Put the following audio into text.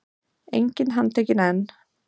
Enginn handtekinn enn